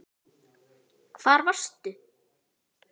Hvar varst þú???